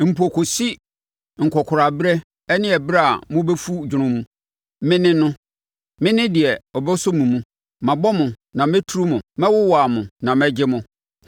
Mpo kɔsi mo nkɔkoraa berɛ ne ɛberɛ a mobɛfu dwono mu, Me ne no, Me ne deɛ ɔbɛsɔ mo mu. Mabɔ mo na mɛturu mo; mɛwowa mo na mɛgye mo.